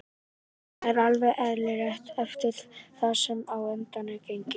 Það er alveg eðlilegt eftir það sem á undan er gengið.